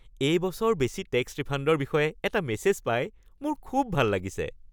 এই বছৰ বেছি টেক্স ৰিফাণ্ডৰ বিষয়ে এটা মেছেজ পাই মোৰ খুব ভাল লাগিছে। (মই)